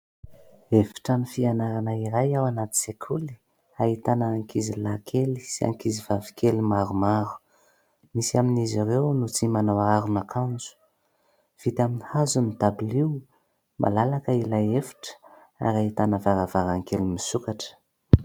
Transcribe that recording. Efitrano fianarana iray ao anaty sekoly ahitana ankizilahy kely sy ankizivavy kely maromaro. Misy amin'izy ireo no tsy manao aron'akanjo, vita amin'ny hazo ny dabilio, malalaka ilay efitra ary ahitana varavarankely misokatra.